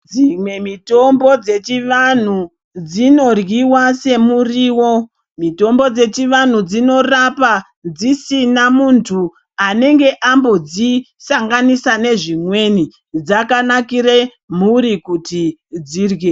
Dzimwe mutombo dzechivanhu dzinoryiwa semuriwo mitombo dzechivantu dzinorapa dzisina muntu anenge ambodzi sanganisa nezvimweni dzakanakire mhuri kuti dzirye.